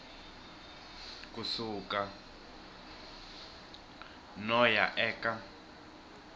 ku suka no ya eka